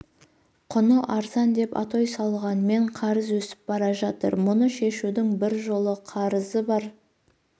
құны арзан деп атой салғанмен қарыз өсіп бара жатыр мұны шешудің бір жолы қарызы бар